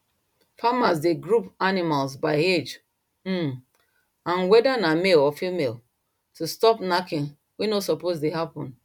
farmers dey group animals by age um and whether na male or female to stop knacking wey no suppose dey happen